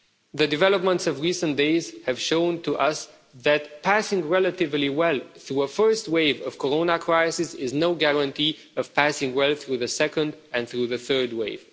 The developments of recent days have shown to us that passing relatively well through a first wave of Corona crisis, is no guarantee of passing well through the second and through the third wave.